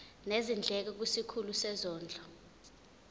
nezindleko kwisikhulu sezondlo